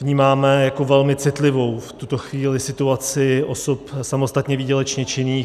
Vnímáme jako velmi citlivou v tuto chvíli situaci osob samostatně výdělečně činných.